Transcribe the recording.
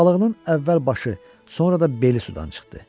Köppək balığının əvvəl başı, sonra da beli sudan çıxdı.